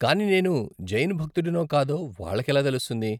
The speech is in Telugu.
కానీ నేను జైన్ భక్తుడినో కాదో వాళ్ళకి ఎలా తెలుస్తుంది?